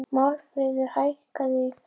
Málmfríður, hækkaðu í græjunum.